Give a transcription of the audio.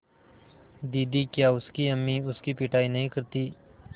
दीदी क्या उसकी अम्मी उसकी पिटाई नहीं करतीं